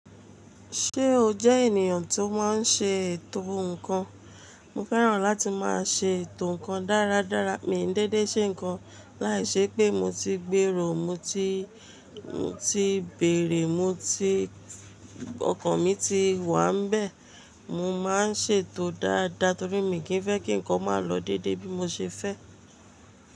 Ṣé o jẹ́ ènìyàn tó máa ń ṣe ètò nnkan? Mo fẹ́ràn láti máa ṣe ètò nnkan dáradára, mi ò ní dédé ṣe nnkan láìṣe pé mo ti gbèrò, mo ti, mo ti bèrè, mo ti, ọkàn mi ti wà nbẹ̀. Mo máa ń ṣètò dáadáa torí mi kì í fẹ́ kí nnkan máa lọ dédé bí mo ṣe fẹ́.